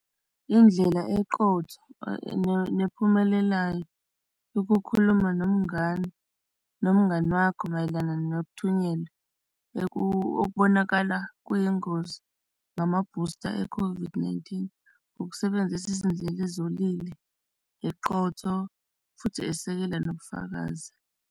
Indlela eqotho nephumelelayo ukukhuluma nomngani nomngani wakho mayelana nokuthunyelwe okubonakala kuyingozi ngamabhusta e-COVID-19. Ukusebenzisa izindlela uzolile, eqotho, futhi esekela nobufakazi.